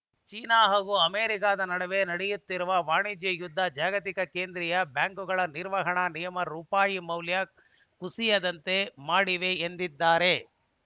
China ಹಾಗೂ ಅಮೆರಿಕಾದ ನಡುವೆ ನಡೆಯುತ್ತಿರುವ ವಾಣಿಜ್ಯ ಯುದ್ಧ ಜಾಗತಿಕ ಕೇಂದ್ರೀಯ ಬ್ಯಾಂಕುಗಳ ನಿರ್ವಹಣಾ ನಿಯಮಗಳು ರೂಪಾಯಿ ಮೌಲ್ಯ ಕುಸಿಯುವಂತೆ ಮಾಡಿವೆ ಎಂದಿದ್ದಾರೆ